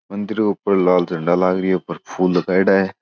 मंदिर ऊपर लाल झंडा लगाएड़ी है ऊपर फूल लगाईड़ा है।